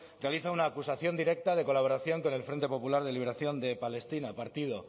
realiza una acusación directa de colaboración con el frente popular de liberación de palestina partido